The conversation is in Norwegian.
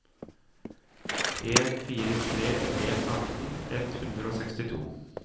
en fire tre en atten ett hundre og sekstito